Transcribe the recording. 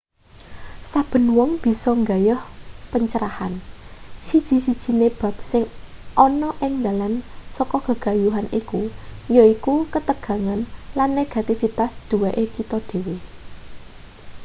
saben wong bisa nggayuh pencerahan siji-sijine bab sing ana ing dalan saka gegayuhan iki yaiku ketegangan lan negativitas duweke kita dhewe